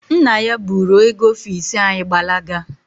Nna ya buru oge ọfisi anyị gbalaga.